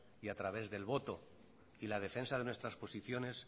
y a través del voto y la defensa de nuestras posiciones